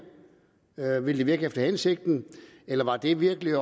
ville det virke efter hensigten eller var det virkelig